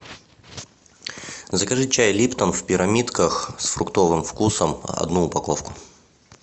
закажи чай липтон в пирамидках с фруктовым вкусом одну упаковку